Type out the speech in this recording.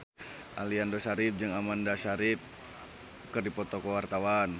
Aliando Syarif jeung Amanda Sayfried keur dipoto ku wartawan